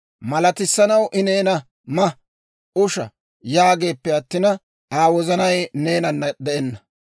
Malatissanaw I neena, «Ma; usha» yaageeppe attina, Aa wozanay neenanna de'enna.